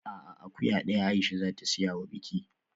A'a, akuya daya kawai Aisha za ta siya wa biki